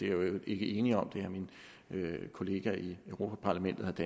øvrigt ikke ene om min kollega i europa parlamentet